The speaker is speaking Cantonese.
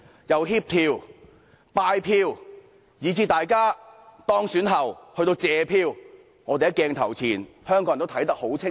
由協調、拜票，以至大家當選後去謝票，香港人在鏡頭前都看得很清楚。